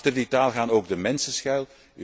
Achter die taal gaan ook de mensen schuil.